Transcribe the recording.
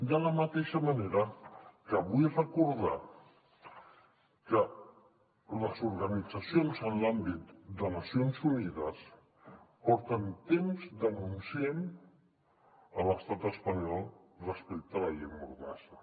de la mateixa manera que vull recordar que les organitzacions en l’àmbit de nacions unides porten temps denunciant l’estat espanyol respecte a la llei mordassa